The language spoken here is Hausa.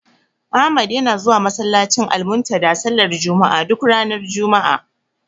Ahmad yana zuwa masallacin Almuntadha sallar juma'a, duk ranar juma'a.